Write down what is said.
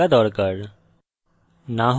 eclipse সংস্থাপিত থাকা দরকার